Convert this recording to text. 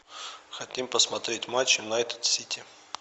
хотим посмотреть матч юнайтед сити